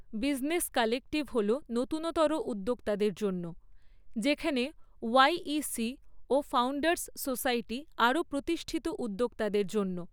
Business collective হল নতুনতর উদ্যোক্তাদের জন্য যেখানে ওয়াই.ই.সি ও ফাউণ্ডার্স সোসাইটি আরও প্রতিষ্ঠিত উদ্যোক্তাদের জন্য।